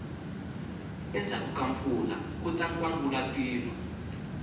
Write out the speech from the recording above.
endzhaku ka mpfula kuta nkwangulatilo